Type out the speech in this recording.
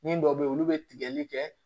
Ni dɔ be yen olu be tigɛli kɛ